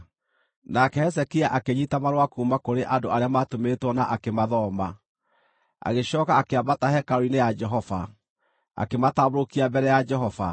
Nake Hezekia akĩnyiita marũa kuuma kũrĩ andũ arĩa maatũmĩtwo na akĩmathoma. Agĩcooka akĩambata hekarũ-inĩ ya Jehova, akĩmatambũrũkia mbere ya Jehova.